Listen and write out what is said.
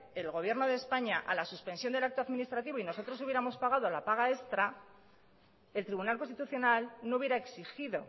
el gobierno de españa a la suspensión del acto administrativo y no nosotros hubiéramos pagado la paga extra el tribunal constitucional no hubiera exigido